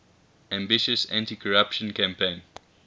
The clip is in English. ambitious anticorruption campaign